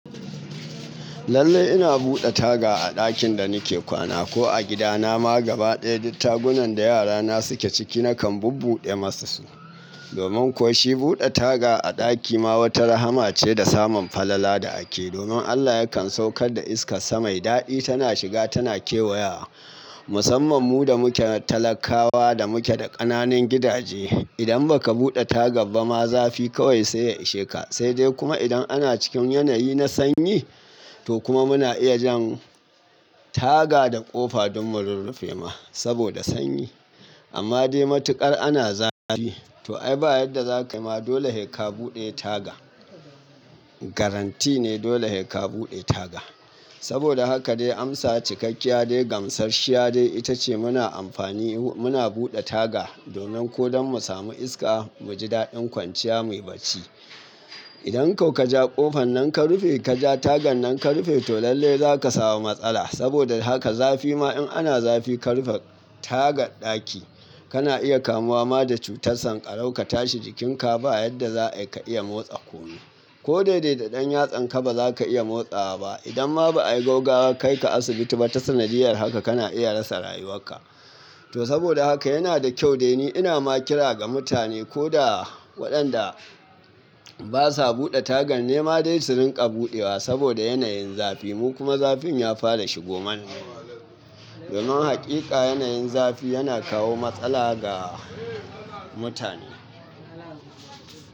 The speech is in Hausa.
Lallai ina buɗe taga a ɗakin da nike kwana, ko a gida na ma gaba ɗaya duk tagunan da yara na suke ciki, nakan bubbuɗe masu su. Domin kuwa shi buɗe taga a ɗaki ma wata rahama ce da samun falala da ake. Domin Allah yakan saukar da iskar sa mai daɗi tana shiga tana kewaya. Musamman mu da muke talakawa da muke da ƙananan gidaje. Idan baka buɗe taga ba ma zafi kawai sai ya ishe ka. Sai dai kuma idan ana cikin yanayi na sanyi, to kuma muna iya jin taga da ƙofa don mu rurrufe ma saboda sanyi. Amma dai matuƙar ana zafi. Toh ai ba yadda zakayi ma dole sai ka buɗe taga. Garanti ne dole sai ka buɗe taga. Saboda haka dai amsa cikakkiya dai, gamsarshiya dai, ita ce muna amfani, muna buɗe taga domin ko don mu samu iska, mu ji daɗin kwanciya muyi barci. Idan ko ka ja ƙofan nan ka rufe, ka ja tagan nan ka rufe, toh lallai za ka samu matsala. Saboda haka zafi ma in ana zafi ka rufe taga ɗaki kana iya kamuwa ma da cutar sankarau ka tashi jikin ka ba yadda za ka iya motsa kunne. Ko dai dai da ɗan yatsan ka ba za ka iya motsawa ba. Idan ma ba a yi gaggawar kai ka asibiti ba, ta sanadiyar haka kana iya rasa rayuwan ka. Toh, saboda haka yana da kyau dai ni ina ma kira ga mutane koda waɗanda basa buɗe tagan nema dai su rinƙa buɗewa saboda yanayin zafi. Mu kuma zafin ya fara shigoman. Domin haƙiƙa yanayin zafi yana kawo matsala ga mutane.